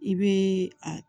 I bɛ a